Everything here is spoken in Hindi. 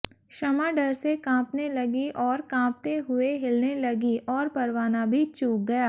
शमां डर से कांपने लगीं और कांपते हुए हिलने लगीं और परवाना भी चूक गया